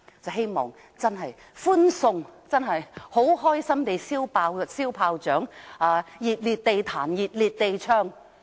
我希望真的歡送他，開心地放鞭炮，"熱烈地彈琴熱烈地唱"。